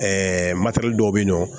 Ɛɛ dɔw bɛ yen nɔ